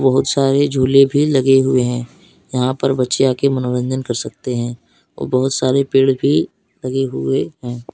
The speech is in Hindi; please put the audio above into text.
बहुत सारे झूले भी लगे हुए हैं। यहां पर बच्चे आ के मनोरंजन कर सकते हैं और बहुत सारे पेड़ भी लगे हुए हैं।